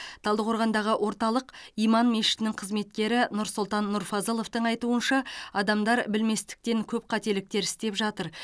талдықорғандағы орталық иман мешітінің қызметкері нұрсұлтан нұрфазыловтың айтуынша адамдар білместіктен көп қателіктер істеп жатыр